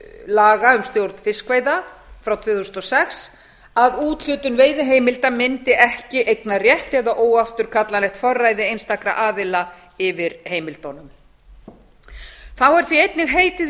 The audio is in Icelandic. laga um stjórn fiskveiða frá tvö þúsund og sex að úthlutun veiðiheimilda myndi ekki eignarrétt eða óafturkallanlegt forræði einstakra aðila yfir heimildunum þá er því einnig heitið í